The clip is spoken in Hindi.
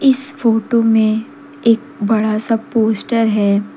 इस फोटो में एक बड़ा सा पोस्टर है।